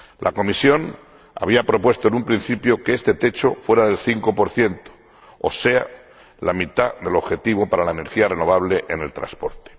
La Comisión había propuesto en un principio que este techo fuera del 5 o sea, la mitad del objetivo para la energía renovable en el transporte.